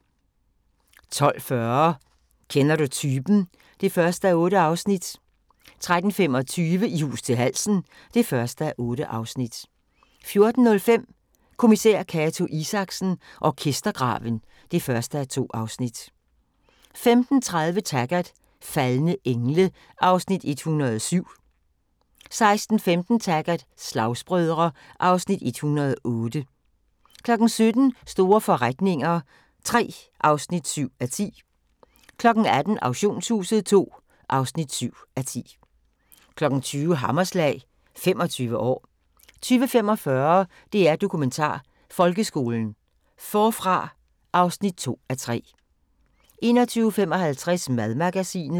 12:40: Kender du typen? (1:8) 13:25: I hus til halsen (1:8) 14:05: Kommissær Cato Isaksen: Orkestergraven (1:2) 15:30: Taggart: Faldne engle (Afs. 107) 16:15: Taggart: Slagsbrødre (Afs. 108) 17:00: Store forretninger III (7:10) 18:00: Auktionshuset II (7:10) 20:00: Hammerslag – 25 år 20:45: DR Dokumentar: Folkeskolen – Forfra (2:3) 21:55: Madmagasinet